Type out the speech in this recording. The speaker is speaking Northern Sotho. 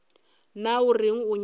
na o reng o nyaka